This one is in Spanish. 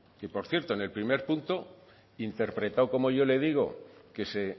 que por cierto en el primer punto interpretado como yo le digo que se